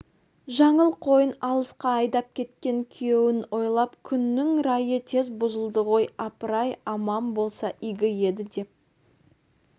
жаңыл қойын алысқа айдап кеткен күйеуін ойлап күннің райы тез бұзылды ғой апыр-ай аман болса игі еді деп